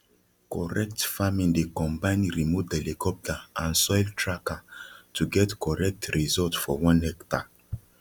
correct farming dey combine remote helicopter and soil tracker to get correct result for one hectare